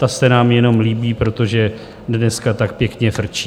Ta se nám jenom líbí, protože dneska tak pěkně frčí.